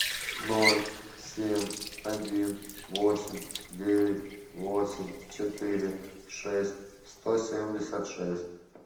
ноль семь один восемь девять восемь четыре шесть сто семьдесят шесть